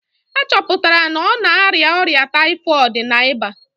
A chọpụtara na ọ na-arịa ọrịa typhoid na ịba